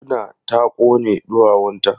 Murna ta kone ɗuwawunta.